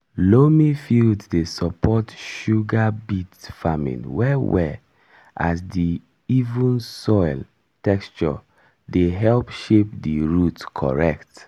loamy fields dey support sugar beet farming well well as di even soil texture dey help shape di root correct.